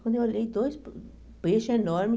Quando eu olhei, dois peixes enormes.